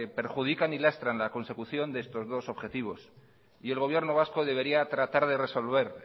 perjudican y lastran a consecución de estos dos objetivos y el gobierno vasco debería tratar de resolver